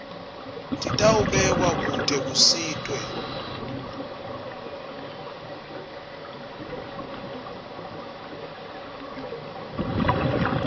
titawubekwa kute kusitwe